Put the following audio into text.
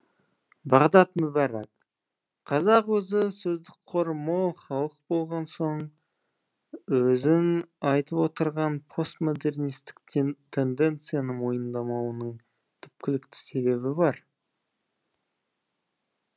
бағдат мүбәрак қазақ өзі сөздік қоры мол халық болған соң өзің айтып отырған постмодернистік тенденцияны мойындамауының түпкілікті себебі бар